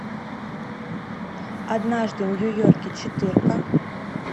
однажды в нью йорке четырка